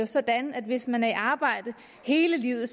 sådan at hvis man er i arbejde hele livet